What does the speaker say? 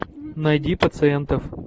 найди пациентов